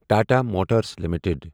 Tata motors limited